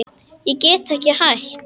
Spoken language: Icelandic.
Ég get ekki hætt.